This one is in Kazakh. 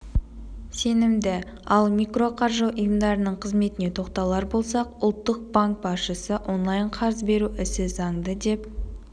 сенімді ал микроқаржы ұйымдарының қызметіне тоқталар болсақ ұлттық банк басшысы онлайн-қарыз беру ісі заңды деп